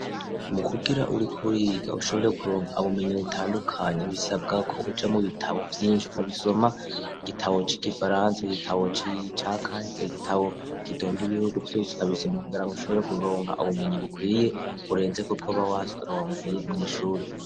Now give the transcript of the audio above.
Mukugira uriko uriga ushobore kuronka ubumenyi butandukanye bisabwa ko uja mu bitabo vyinshi ukabisoma, igitabo c'igifaransa igitabo c'akahise igitabo kindonda ibihugu vyose ukabisoma kugira ushobore kuronka ubumenyi bukwiye burenze kubwo uba waronkeye mw'ishure.